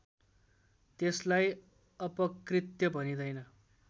त्यसलाई अपकृत्य भनिँदैन